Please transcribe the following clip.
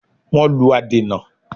Wọ́n lù adènà